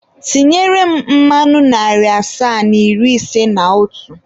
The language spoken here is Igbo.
Tinyere m mmanụ narị asaa na iri ise na otu.